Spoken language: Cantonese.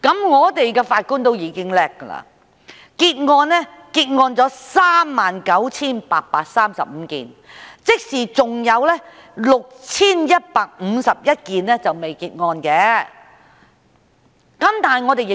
本港的法官已經很能幹，結案數目達 39,835 宗，即還有 6,151 宗尚未結案。